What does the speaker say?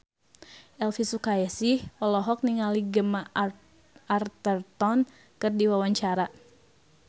Elvy Sukaesih olohok ningali Gemma Arterton keur diwawancara